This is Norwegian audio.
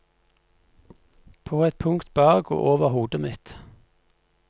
På et punkt bak og over hodet mitt.